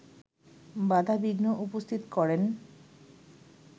বাধা বিঘ্ন উপস্থিত করেন